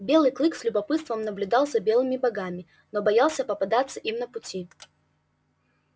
белый клык с любопытством наблюдал за белыми богами но боялся попадаться им на пути